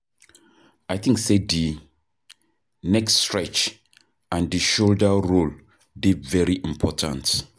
I think say di neck stretch and di shoulder roll dey very important.